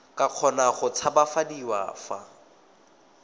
ka kgona go tshabafadiwa fa